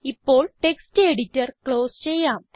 ഇപ്പോൾ text editor close ചെയ്യാം